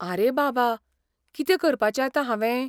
आरे बाबा! कितें करपाचें आतां हावें?